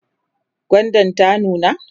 gwandan ta nuna?